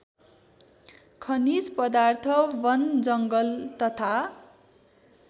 खनिज पदार्थ बनजङ्गल तथा